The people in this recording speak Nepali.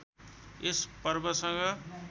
यस पर्वसँग